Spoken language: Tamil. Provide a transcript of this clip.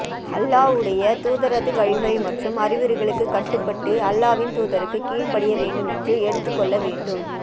அல்லாஹ்வுடைய தூதரது வழிமுறை மற்றும் அறிவுரைகளுக்கு கட்டுப்பட்டு அல்லாஹ்வின் தூதருக்கும் கீழ்படிய வேண்டும் என்று எடுத்துக்கொள்ள வேண்டும்